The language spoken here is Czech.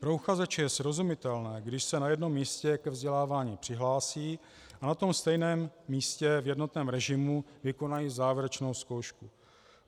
Pro uchazeče je srozumitelné, když se na jednom místě ke vzdělávání přihlásí a na tom stejné místě v jednotném režimu vykonají závěrečnou zkoušku.